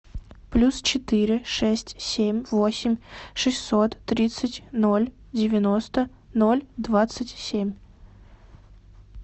плюс четыре шесть семь восемь шестьсот тридцать ноль девяносто ноль двадцать семь